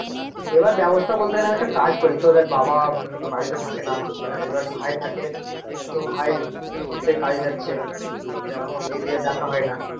এবার ব্যবস্থা বলতে গেলে আমার একটা কাজ করি তো এবার বাবা বাড়িতে থাকে না এবার ভাই থাকে আহ তো ভাই তো এখন সে কাজে যাচ্ছে এরকম দেখা হয় না,